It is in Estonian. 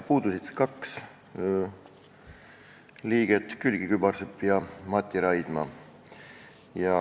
Puudusid kaks liiget: Külliki Kübarsepp ja Mati Raidma.